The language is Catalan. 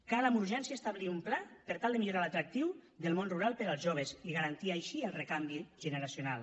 cal amb urgència establir un pla per tal de millorar l’atractiu del món rural per als joves i garantir així el recanvi generacional